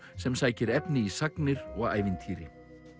sem sækir efni í sagnir og ævintýri